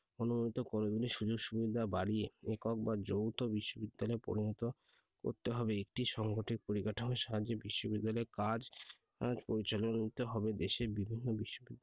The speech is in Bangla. অনুমিত college গুলির সুযোগ-সুবিধা বাড়িয়ে একক বা যৌথ বিশ্ববিদ্যালয়ে পরিণত করতে হবে। একটি সাংগঠনিক পরিকাঠামো সাহায্যে বিশ্ববিদ্যালয়ের কাজ পরিচালনা করতে হবে। দেশের বিভিন্ন বিশ্ববিদ্যালয়,